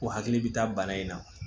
Ko hakili bɛ taa bana in na